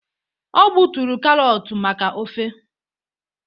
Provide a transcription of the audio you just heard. o gbuturu karọt maka ofe